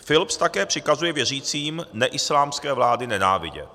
Philips také přikazuje věřícím neislámské vlády nenávidět.